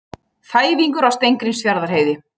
Þæfingur á Steingrímsfjarðarheiði